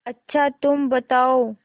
अच्छा तुम बताओ